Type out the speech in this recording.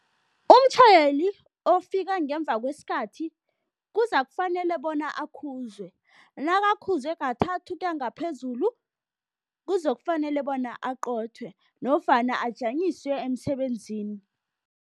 Umtjhayeli ofika ngemva kwesikhathi kuzakufanela bona akhuzwe. Nakakhuzwe kathathu ukuya ngaphezulu, kuzokufanele bona aqothwe nofana ajanyiswe emsebenzini.